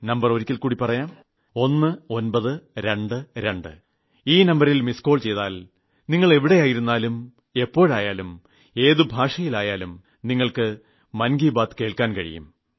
് 1922 ഈ നമ്പരിൽ മിസ്ഡ് കോൾ ചെയ്താൽ നിങ്ങൾ എവിടെയായാലും എപ്പോഴായാലും ഏത് ഭാഷയിലും നിങ്ങൾക്ക് മൻ കി ബാത്ത് കേൾക്കാൻ കഴിയും